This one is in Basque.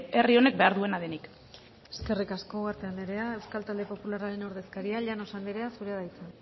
herri honek behar duena denik eskerrik asko ugarte anderea euskal talde popularraren ordezkaria llanos anderea zurea da hitza